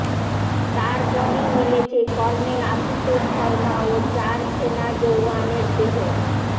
তারপরই মিলেছে কর্নেল আশুতোষ শর্মা ও চার সেনা জওয়ানের দেহ